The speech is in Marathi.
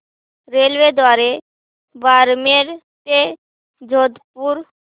रेल्वेद्वारे बारमेर ते जोधपुर